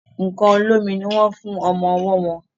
nkán olómi ní wón fún ọmọ ọwó wón.